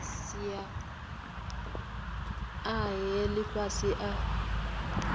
sia a he ifhasi a